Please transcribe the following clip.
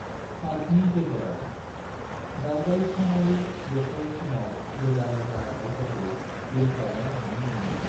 पार्कनि गेजेराव, दावबायसनारि बोथोर समाव रोजा रोजा दाउफोरखो बिरख्लायनाय नुनो मोनो।